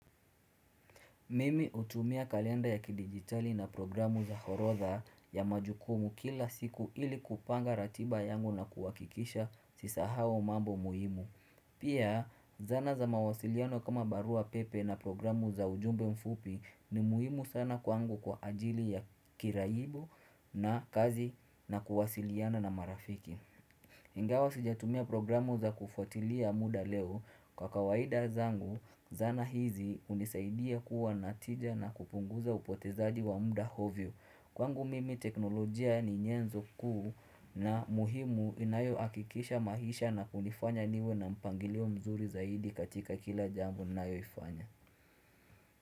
Mimi utumia kalenda ya kidigitali na programu za orotha ya majukumu kila siku ili kupanga ratiba yangu na kuhakikisha sisahau mambo muhimu. Pia, zana za mawasiliano kama barua pepe na programu za ujumbe mfupi ni muhimu sana kwangu kwa ajili ya kirayibo na kazi na kuwasiliana na marafiki. Ingawa sijatumia programu za kufuatilia muda leo, kwa kawaida zangu zana hizi unisaidia kuwa na tija na kupunguza upotezaji wa muda hovyo. Kwangu mimi teknolojia ni nyenzo kuu na muhimu inayohakikisha maisha na kunifanya niwe na mpangilio mzuri zaidi katika kila jambo ninayoifanya.